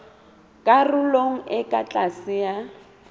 karolong e ka tlase ya